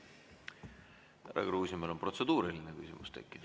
Härra Kruusimäel on protseduuriline küsimus tekkinud.